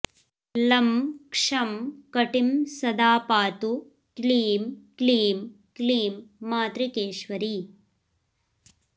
लं क्षं कटिं सदा पातु क्लीं क्लीं क्लीं मातृकेश्वरी